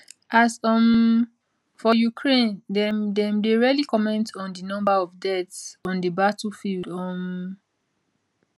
as um for ukraine dem dem dey rarely comment on di number of deaths on di battlefield um